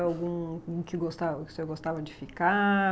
Algum que gostava que o senhor gostava de ficar?